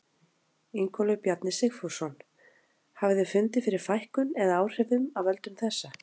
Ingólfur Bjarni Sigfússon: Hafið þið fundið fyrir fækkun eða áhrifum af völdum þessa?